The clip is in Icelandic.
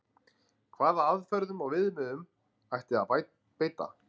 Hvaða aðferðum og viðmiðunum ætti að beita?